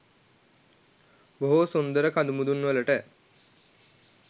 බොහෝ සුන්දර කදුමුදුන් වලට